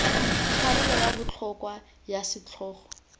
karolo ya botlhokwa ya setlhogo